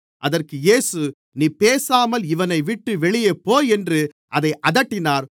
அதற்கு இயேசு நீ பேசாமல் இவனைவிட்டு வெளியே போ என்று அதை அதட்டினார்